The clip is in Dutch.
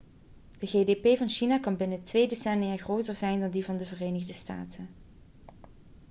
de gdp van china kan binnen twee decennia groter zijn dan die van de verenigde staten